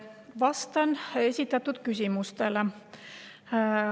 Vastan esitatud küsimustele.